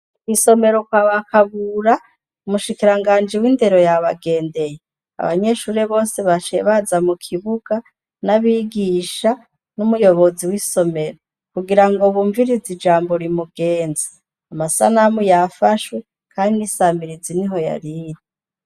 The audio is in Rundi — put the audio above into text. Isomero kwa bakagura umushikiranganja iw'indero ya bagendeye abanyeshure bose bashaye baza mu kibuga n'abigisha n'umuyobozi w'isomero kugira ngo bumvirize ijambo rimugenza amasanamu yafashwe, kandi isambirizi ni ho yariri.